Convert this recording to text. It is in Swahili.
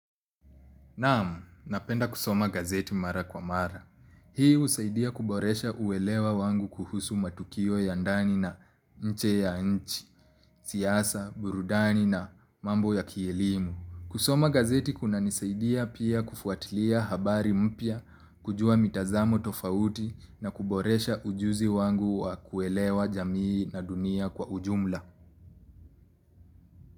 Naam napenda kusoma gazeti mara kwa mara. Hii husaidia kuboresha uwelewa wangu kuhusu matukio ya ndani na nje ya nchi, siasa, burudani na mambo ya kielimu. Kusoma gazeti kunanisaidia pia kufuatilia habari mpya, kujua mitazamo tofauti na kuboresha ujuzi wangu wa kuelewa jamii na dunia kwa ujumla.